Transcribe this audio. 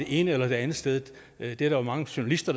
ene eller det andet sted det er der jo mange journalister